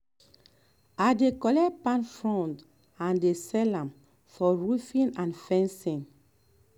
i dey collect palm fronds and dey sell am for roofing and fencing.